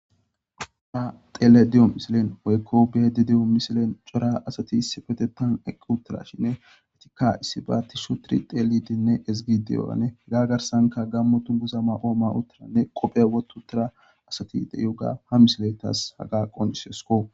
qoha xeele de7o misilen woykko beedi de7o misilen cora asati sifetetan eqqi uttara shinne etikka issi baatti shoturi xeelidenne ezgideyo7ane gaa garsanka gammotun guza ma ooma uttiranne qophe wotu utira asati de7y uga ha misiletas haga qon isyosko